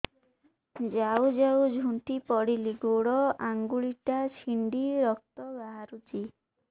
ଯାଉ ଯାଉ ଝୁଣ୍ଟି ପଡ଼ିଲି ଗୋଡ଼ ଆଂଗୁଳିଟା ଛିଣ୍ଡି ରକ୍ତ ବାହାରୁଚି